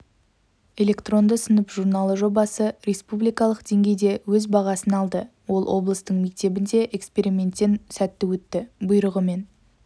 электронды сынып журналы жобасы республикалық деңгейде өз бағасын алды ол облыстың мектебінде эксперименттен сәтті өтті бұйрығымен